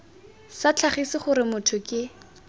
sa tlhagise gore motho ke